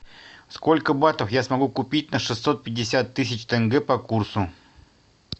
сколько батов я смогу купить на шестьсот пятьдесят тысяч тенге по курсу